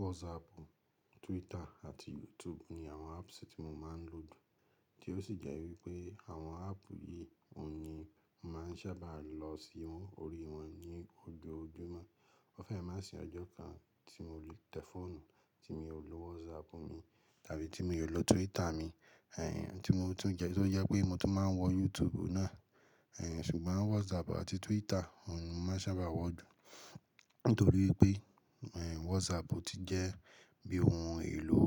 WhatsApp, Twitter àti YouTube ni àwọn apps tí mo máa ń lò jù. Tí ó sì jẹ́ wípé àwọn app yìí òhun ni mo máa ń sábà lọ sí wọn, orí wọn ní ojoojúmọ́. Ó fẹ́ má si ọjọ́ kan tí mo lè tẹ fóònù tí mi ò lo WhatsApp mi tàbí tí mi ò lo Twitter mi. Tí mo tún jẹ́, tó jẹ́ pé mo tún máa ń wọ YouTube náà. Ẹ̀hẹ̀n, ṣùgbọ́n WhatsApp àti Twitter òhun ni mo máa ń sábà wọ̀ jù. Nítorí pé, WhatsApp ti jẹ́ bí ohun èlò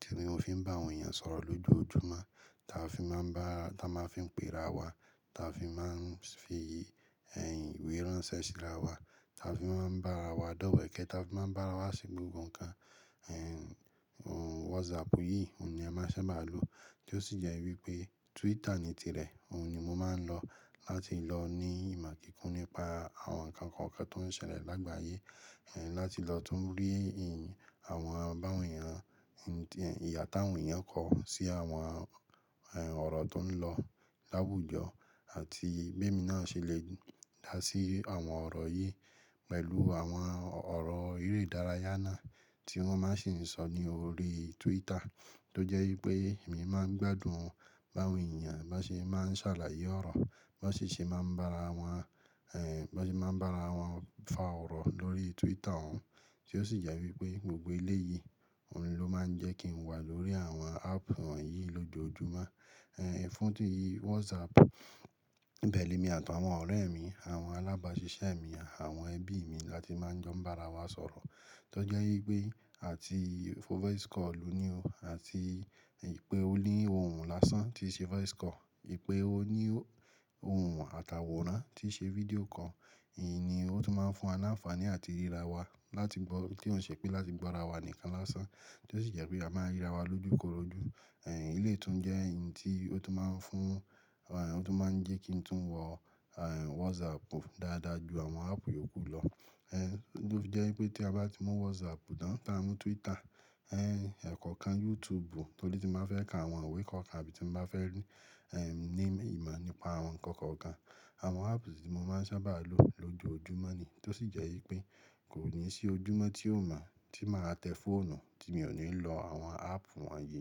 tí mo fi ń bá àwọn èèyàn sọ̀rọ̀ lójoojúmọ́, táa fi máa ń bá, táa máa fi ń pe ra wa, táa fi máa ń fi, ìwé ránṣẹ́ sírà wa, táa fi máa ń bá ra wa dowẹkẹ, táa fi máa ń bá ara wa ṣe gbogbo nǹkan. WhatsApp yìí òun ni a máa ń sábà lò. Tí ó sì jẹ́ wípé Twitter ni tìrẹ òun ni mo máa ń lọ láti lọ ní ìmọ̀ kíkún nípa àwọn nǹkan kọ̀ọ̀kan tó ń ṣẹlẹ̀ lágbàyé. Láti lọ tún rí, àwọn báwọn èèyàn, ìha táwọn èèyàn kọ̀ sí àwọn, ọ̀rọ̀ tó ń lọ lá wujọ àti bí èmi náà ṣe lè dá sí àwọn ọ̀rọ̀ yìí pẹ̀lú àwọn ọ̀rọ̀ eré ìdárayà náà tí wọ́n máa sì ń sọ ní orí Twitter. Tí ó jẹ́ wípé èmi máa ń gbádùn báwọn èèyàn bá n ṣe máa ń sàlàyé ọ̀rọ̀, bá ṣe ṣe máa ń bá ara wọn, bá n ṣe máa ń bá ara wọn fa ọ̀rọ̀ lórí Twitter òun. Tí ó sì jẹ́ wípé gbogbo ele yìí òun ló máa ń jẹ́ kí n wà lórí àwọn app wọ̀nyí lójoojúmọ́. Fún tí WhatsApp, ibẹ ni emi àtàwọn ọ̀rẹ́ mi, àwọn alábáṣiṣẹ́ mi, àwọn ẹbí mi láti máa n jọ ń bá ara wa sọ̀rọ̀. Tí ó jẹ́ wípé a ti fọ voice kọlu ní o àti ìpè ó lé ohun lásán tí ṣe voice kọọ, ìpè ó ní ohun àtàwòrán tí ṣe fídíò kọọ Ìhín ni ó tún máa ń fún wa ní àǹfààní àti ríra wa láti gbọ́, tí ó ṣe pé láti gbọ́ ara wa nìkan lásán. Tí ó sì jẹ́ pé a máa ń ríra wa lójúkòrójú. Eleyii tún jẹ́ ohun tí ó tún máa ń fún, òun to máa ń jẹ́ kí n tún wọ̀, WhatsAppu dáadáa ju àwọn appu yòókù lọ. Ló fi jẹ́ wípé tí a bá ti mú WhatsApp, tan ta mú Twitter, ẹkọọkan YouTube tòri tí n baa fẹ ka àwọn ìwé kọ̀ọ̀kan àbí tí mo bá fẹ́ rí, ní ìmọ̀ nípa àwọn nǹkan kọ̀ọ̀kan. Àwọn apps tí mo máa ń sábà lò lójoojúmọ́ ni. Tí ó sì jẹ́ wípé kò ní sí ojúmọ́ tí ò mọ̀ tí màá tẹ fóònù tí mi ò ní lọ àwọn app wọ̀nyí.